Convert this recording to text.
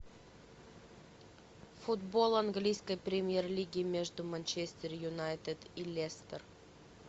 футбол английской премьер лиги между манчестер юнайтед и лестер